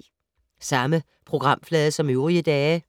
Samme programflade som øvrige dage